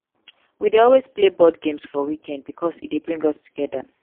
we dey always play board games for weekend bikos e dey bring us togeda.